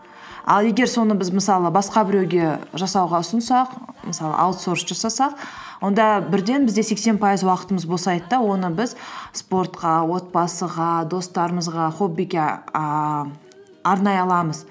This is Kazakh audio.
ал егер соны біз мысалы басқа біреуге жасауға ұсынсақ мысалы аутсорс жасасақ онда бірден бізде сексен пайыз уақытымыз босайды да оны біз спортқа отбасыға достарымызға хоббиге ііі арнай аламыз